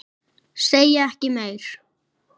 Segi ekki meir.